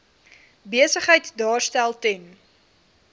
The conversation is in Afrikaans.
besigheid daarstel ten